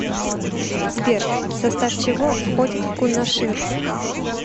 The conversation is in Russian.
сбер в состав чего входит кунашир